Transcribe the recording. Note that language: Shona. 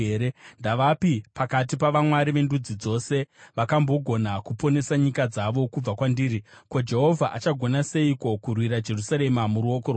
Ndavapi pakati pavamwari vendudzi dzose vakambogona kuponesa nyika dzavo kubva kwandiri? Ko, Jehovha achagona seiko kurwira Jerusarema muruoko rwangu?”